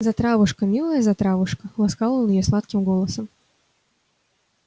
затравушка милая затравушка ласкал он её сладким голосом